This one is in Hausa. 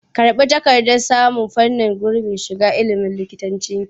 Karɓi takardar samun gurbin shiga fannin likitancinki!